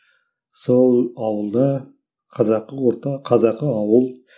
сол ауылда қазақы орта қазақы ауыл